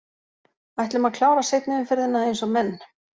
Ætlum að klára seinni umferðina eins og menn!